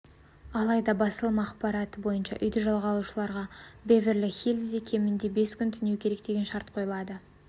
алайда басылым ақпараты бойынша үйді жалға алушыларға беверли-хиллзде кемінде бес күн түнеу керек деген шарт қойылады